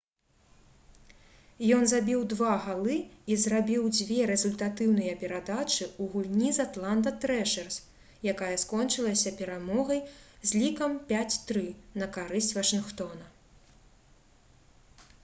ён забіў 2 галы і зрабіў 2 рэзультатыўныя перадачы ў гульні з «атланта трэшэрс» якая скончылася перамогай з лікам 5—3 на карысць вашынгтона